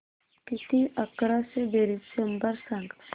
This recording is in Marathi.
किती अकराशे बेरीज शंभर सांग